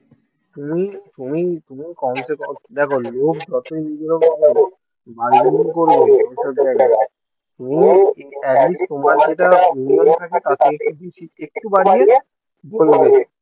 তুমি তুমি তুমি কমসেকম দেখো লোক যতই বার্গেনিং করবে। তুমি অ্যাটলিস্ট তোমার যেটা নিয়ম আছে তার থেকে কিন্তু একটু বাড়িয়ে বলবে